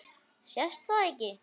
Sést það ekki?